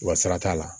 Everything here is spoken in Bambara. Wa sara t'a la